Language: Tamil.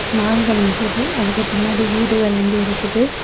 மரங்கள் நிக்குது. அதுக்கு பின்னாடி வீடுகள் வந்து இருக்குது.